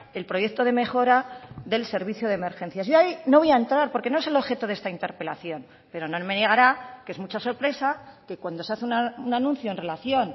el proyecto de mejora del servicio de emergencias y ahí no voy a entrar porque no es el objeto de esta interpelación pero no me negará que es mucha sorpresa que cuando se hace un anuncio en relación